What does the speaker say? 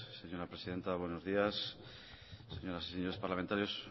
señora presidenta buenos días señoras y señores parlamentarios